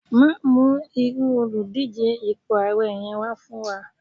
ma mu iru Oludije ipo ààrẹ yẹn wà fún wa